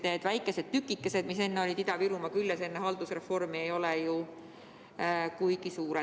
Need väikesed tükikesed, mis olid Ida‑Virumaa küljes enne haldusreformi, ei ole ju kuigi suured.